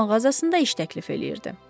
Öz mağazasında iş təklif eləyirdi.